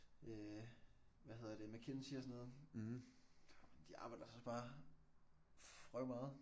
Øh hvad hedder det McKinsey og sådan noget de arbejder så også bare røvmeget